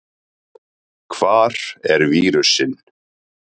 Hvar er vírusinn?